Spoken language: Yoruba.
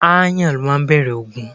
Ááyàn ló máa ń bẹ̀rẹ̀ ogun.